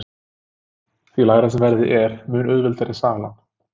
því lægra sem verðið er þeim mun auðveldari er salan